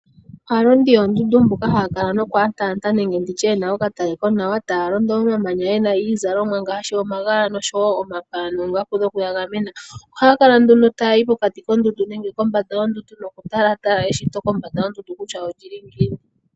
Aalondi yoondundu mbyoka haakala yalonda nokutalatala yena okatale konawa taazala iizalomwa Ngaashi omagala noongaku dhokuyegamena ohaakala nduno taya tala pokati nenge kombanda yondundu kutya eshito olili ngiini